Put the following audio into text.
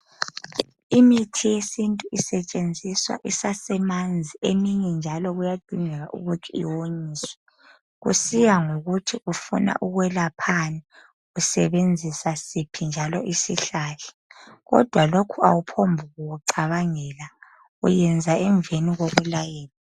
Imithi yesintu isetshenziswa isasemanzi eminye njalo kuyadingeka ukuthi iwonyiswe kusiya ngokuthi ufuna ukwelaphani usebenzisa siphi njalo isihlahla kodwa lokhu awuphongku kucabangela uyayenza emveni kokulayelwa